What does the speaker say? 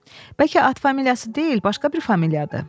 Bəlkə at familiyası deyil, başqa bir familiyadır.